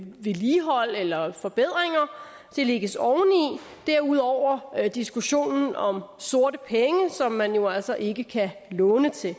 vedligehold eller forbedringer det lægges oveni derudover er der diskussionen om sorte penge som man jo altså ikke kan låne til